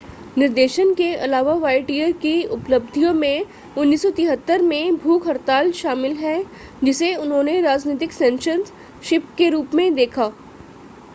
निर्देशन के अलावा वायटियर की उपलब्धियों में 1973 में भूख हड़ताल शामिल है जिसे उन्होंने राजनीतिक सेंसरशिप के रूप में देखा